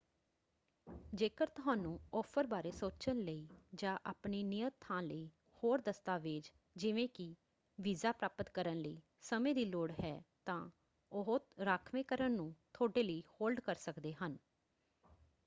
ਜੇਕਰ ਤੁਹਾਨੂੰ ਆਫ਼ਰ ਬਾਰੇ ਸੋਚਣ ਲਈ ਜਾਂ ਆਪਣੀ ਨਿਯਤ ਥਾਂ ਲਈ ਹੋਰ ਦਸਤਾਵੇਜ਼ ਜਿਵੇਂ ਕਿ ਵੀਜ਼ਾ ਪ੍ਰਾਪਤ ਕਰਨ ਲਈ ਸਮੇਂ ਦੀ ਲੋੜ ਹੈ ਤਾਂ ਉਹ ਰਾਖਵੇਂਕਰਨ ਨੂੰ ਤੁਹਾਡੇ ਲਈ ਹੋਲਡ ਕਰ ਸਕਦੇ ਹਨ।